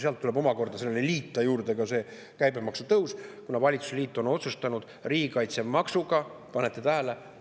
Sinna tuleb omakorda liita juurde ka käibemaksu tõus, kuna valitsusliit on otsustanud riigikaitsemaksuga – kas panete tähele?